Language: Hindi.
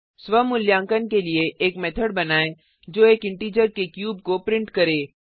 स्वा मूल्यांकन के लिए एक मेथड बनाएँ जो एक इंटिजर के क्यूब को प्रिंट करे